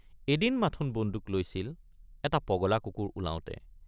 এদিন মাথোন বন্দুক লৈছিল এটা পগলা কুকুৰ ওলাওঁতে।